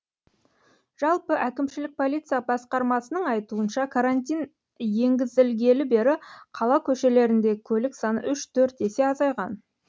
жалпы әкімшілік полиция басқармасының айтуынша карантин енгізілгелі бері қала көшелеріндегі көлік саны үш төрт есе азайған